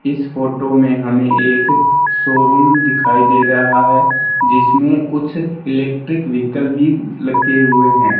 इस फोटो में हमें एक शोरूम दिखाई दे रहा है जिसमें कुछ इलेक्ट्रिक व्हीकल भी लगे हुए हैं।